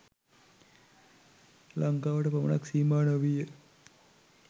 ලංකාවට පමණක් සීමා නොවී ය.